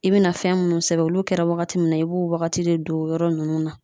I bina fɛn munnu sɛbɛn olu kɛra wagati mun na i b'o wagati de don o yɔrɔ nunnu na